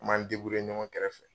An m'an ɲɔgɔn kɛrɛfɛ